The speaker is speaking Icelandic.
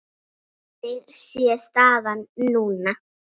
Þannig sé staðan núna.